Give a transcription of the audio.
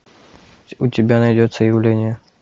у тебя найдется явление